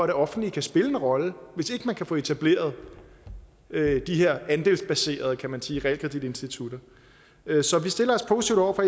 det offentlige kan spille en rolle hvis ikke man kan få etableret de her andelsbaserede kan man sige realkreditinstitutter så vi stiller os positive over for